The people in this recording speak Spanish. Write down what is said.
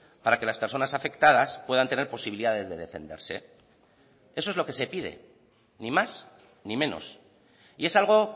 para que las personas afectadas puedan tener posibilidades de defenderse eso es lo que se pide ni más ni menos y es algo